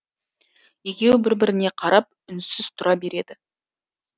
екеуі бір біріне қарап үнсіз тұра береді